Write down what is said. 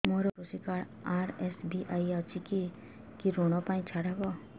ମୋର କୃଷି card RSBY ଅଛି କି କି ଋଗ ପାଇଁ ଛାଡ଼ ହବ